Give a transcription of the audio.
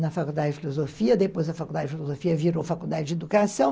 Na faculdade de filosofia, depois a faculdade de filosofia virou faculdade de educação.